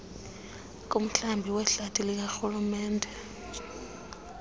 kumhlaba wehlathi likarhulumente